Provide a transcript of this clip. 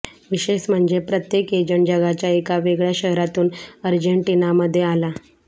विशेष म्हणजे प्रत्येक एजंट जगाच्या एका वेगळ्या शहरातून अर्जेंटिनामध्ये आला